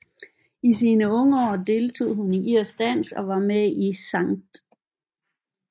I sine unge år deltog hun i irsk dans og var med i St